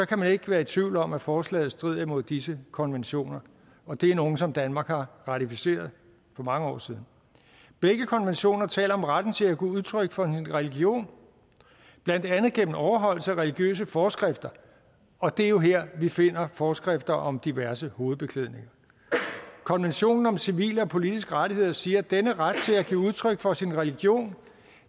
kan man ikke være i tvivl om at forslaget strider imod disse konventioner og det er nogle som danmark har ratificeret for mange år siden begge konventioner taler om retten til at give udtryk for en religion blandt andet gennem overholdelse af religiøse forskrifter og det er jo her vi finder forskrifter om diverse hovedbeklædninger konventionen om civile og politiske rettigheder siger at denne ret til at give udtryk for sin religion